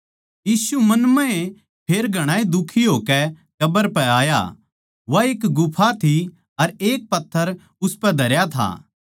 यीशु मन म्हए फेर घणाए दुखी होकै कब्र पै आया वा एक गुफा थी अर एक पत्थर उसपै धरया था